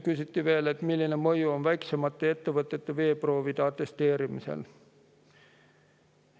Küsiti veel, milline mõju on väiksemate ettevõtete veeproovide atesteerimisel.